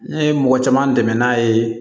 Ne ye mɔgɔ caman dɛmɛ n'a ye